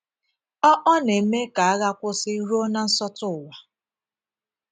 “ Ọ Ọ na - eme ka agha kwụsị ruo na nsọtụ ụwa.